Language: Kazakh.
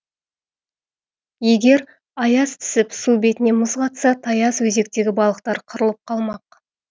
егер аяз түсіп су бетіне мұз қатса таяз өзектегі балықтар қырылып қалмақ